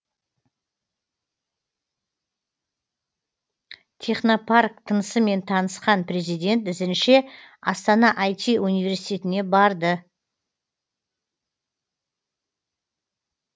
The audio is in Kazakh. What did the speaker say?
технопарк тынысымен танысқан президент ізінше астана ай ти университетіне барды